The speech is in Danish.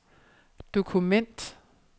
dokument